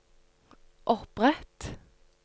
opprett